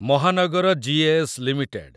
ମହାନଗର G A S. Limited